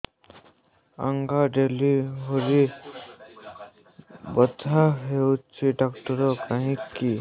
ଆଜ୍ଞା ଡେଲିଭରି ବଥା ହଉଚି ଡାକ୍ତର କାହିଁ କି